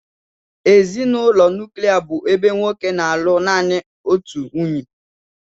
Ezinụlọ nuklia bụ ebe nwoke na-alụ naanị otu nwunye